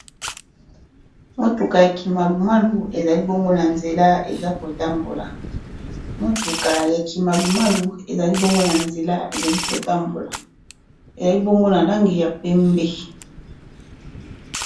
Mutuka ya kimalu malu ezali bongo na nzela ezali kotambola ezali bongo na langi ya pembe.